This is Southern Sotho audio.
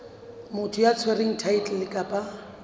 motho ya tshwereng thaetlele kapa